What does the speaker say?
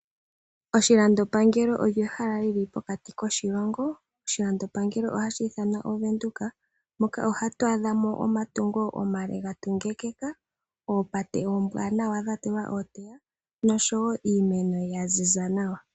Oshilando pangelo olyo ehala lyili pokati koshilongo. Oshilando pangelo ohashi ithanwa oVenduka moka ohatu adha mo omatungo omale ga tungekeka, oopate oombwanawa dha tulwa ooteya niimeno ya ziza nawa.